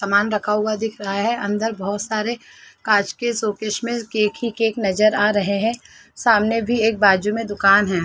सामान रखा हुआ दिख रहा है अंदर बहुत सारे कांच के सोकेश में केक ही केक नजर आ रहे हैं सामने भी एक बाजू में दुकान है।